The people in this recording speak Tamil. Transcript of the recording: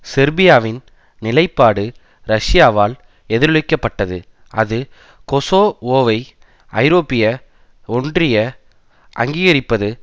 செர்பியாவின் நிலைப்பாடு ரஷ்யாவால் எதிரொலிக்கப்பட்டது அது கொசோவோவை ஐரோப்பிய ஒன்றிய அங்கீகரிப்பது